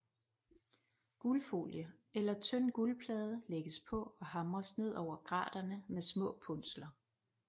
Guldfolie eller tynd guldplade lægges på og hamres ned over graterne med små punsler